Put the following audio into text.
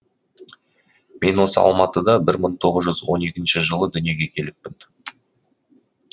мен осы алматыда бір тоғыз жүз он екінші жылы дүниеге келіппін